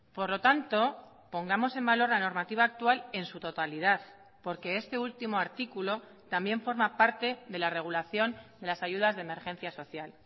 por lo tanto pongamos en valor la normativa actual en su totalidad porque este último artículo también forma parte de la regulación de las ayudas de emergencia social